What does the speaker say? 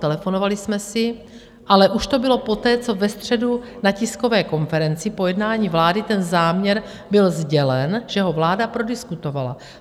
Telefonovali jsme si, ale už to bylo poté, co ve středu na tiskové konferenci po jednání vlády ten záměr byl sdělen, že ho vláda prodiskutovala.